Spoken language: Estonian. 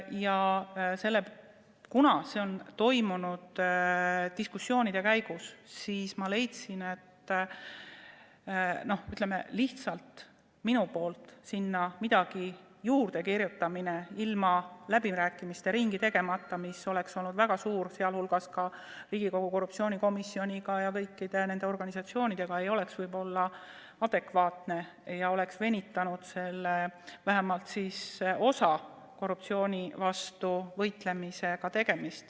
Ja kuna see on koostatud diskussioonide käigus, siis ma leidsin, et minu poolt sinna midagi juurde kirjutada ilma läbirääkimiste ringi tegemata – see on väga suur ka Riigikogu korruptsioonikomisjon ja kõik need organisatsioonid – ei oleks võib-olla adekvaatne ja venitaks vähemalt osaliselt korruptsiooni vastu võitlemist.